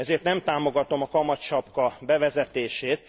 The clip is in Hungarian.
Ezért nem támogatom a kamatsapka bevezetését.